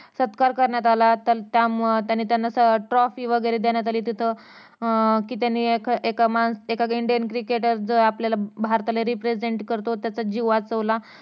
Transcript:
सत्कार करण्यात आला त्यामुळ त्यांना trofy वैगरे देण्यात अली तिथे अं कि त्यांनी एका मान indian cricketer च आपल्याला भारताला represent करतो त्याचा जीव वाचवला